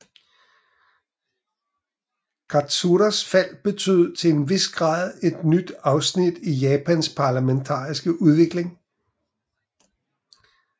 Katsuras fald betød til en vis grad et nyt afsnit i Japans parlamentariske udvikling